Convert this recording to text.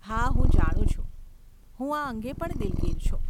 હા હું જાણું છું! હું આ અંગે પણ દિલગીર છું.